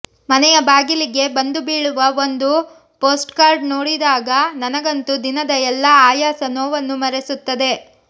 ಮನೆಯ ಬಾಗಿಲಿಗೆ ಬಂದು ಬೀಳುವ ಒಂದು ಪೋಸ್ಟ್ಕಾರ್ಡ್ ನೋಡಿದಾಗ ನನಗಂತು ದಿನದ ಎಲ್ಲಾ ಆಯಾಸ ನೋವನ್ನು ಮರೆಸುತ್ತದೆ